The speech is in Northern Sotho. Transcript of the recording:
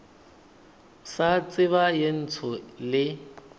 sa tseba ye ntsho le